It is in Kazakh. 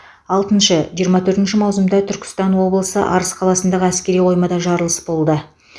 алтыншы жиырма төртінші маусымда түркістан облысы арыс қаласындағы әскери қоймада жарылыс болды